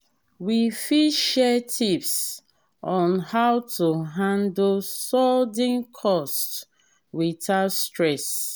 we fit share tips on how to handle sudden costs without stress.